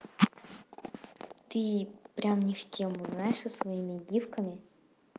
ты прям не в тему знаешь со своими гивками